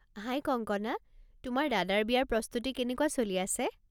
হাই কংকনা, তোমাৰ দাদাৰ বিয়াৰ প্ৰস্তুতি কেনেকুৱা চলি আছে?